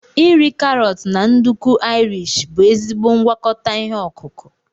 iri karọt na nduku Irish bụ ezigbo ngwakọta ihe ọkụkụ.